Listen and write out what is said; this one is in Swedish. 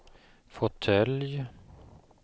fåtölj